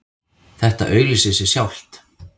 Þetta auglýsir sig sjálft